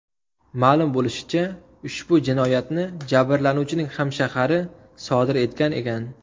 Ma’lum bo‘lishicha, ushbu jinoyatni jabrlanuvchining hamshahari sodir etgan ekan.